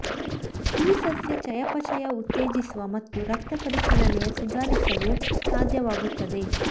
ಈ ಸಸ್ಯ ಚಯಾಪಚಯ ಉತ್ತೇಜಿಸುವ ಮತ್ತು ರಕ್ತ ಪರಿಚಲನೆಯ ಸುಧಾರಿಸಲು ಸಾಧ್ಯವಾಗುತ್ತದೆ